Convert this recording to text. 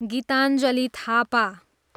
Gitanjali Thapa